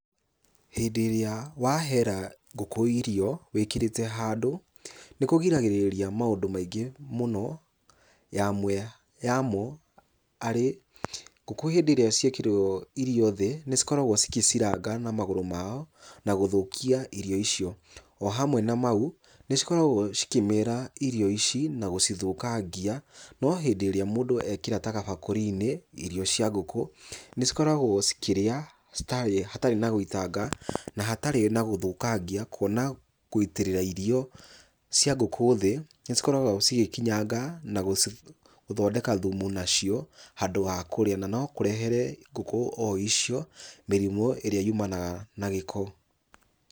Hĩndĩ ĩrĩa wahera ngũku irio, wĩkĩrĩte handũ, nĩkũgiragĩrĩria maũndũ maingĩ mũno, yamwe yamo arĩ ngũkũ hindĩ ĩrĩa ciekĩrĩrwo irio thĩ, nĩcikoragwo cikiciranga na magũrũ mao, nagũthũkia irio icio. O hamwe na mau, nĩcikoragwo cikĩmĩra irio ici, na gũcithũkangia, no hindĩ ĩrĩa mũndũ ekĩra ta gabakũri-inĩ, irio cia ngũkũ nĩcikoragwo cikĩria, hatarĩ na gũitanga na hatarĩ na gũthũkangia, kuona gũitĩrĩra irio cia ngũkũ thĩ, nĩcikoragwo cigĩkinyanga na gũthondeka thumu nacio, handũ wa kũrĩa, na ũrehere ngũkũ o icio mĩrimũ ĩrĩa yumanaga na gĩko.